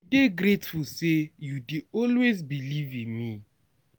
dey grateful sey you dey always believe in me.